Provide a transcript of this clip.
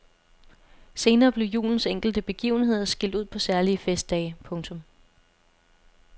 Senere blev julens enkelte begivenheder skilt ud på særlige festdage. punktum